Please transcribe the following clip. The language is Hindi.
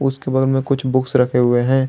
उसके बगल में कुछ बुक्स रखे हुए हैं।